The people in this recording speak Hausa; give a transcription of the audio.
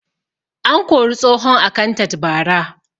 An kori tsohon akantat bara